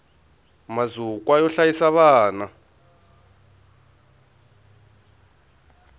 mazukwa yo hlayisa vana